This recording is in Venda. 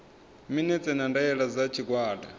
minetse na ndaela dza tshigwada